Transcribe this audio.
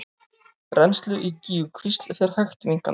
Rennsli í Gígjukvísl fer hægt minnkandi